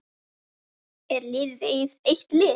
Er liðið eitt lið?